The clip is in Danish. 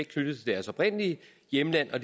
knyttet til deres oprindelige hjemland og